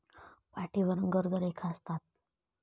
पाठीवर गर्द रेखा असतात.